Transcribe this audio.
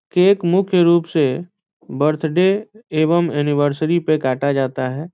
Cake मुख्य रूप से बर्थडे एवं ऐनिवर्सरी पे काटा जाता है ।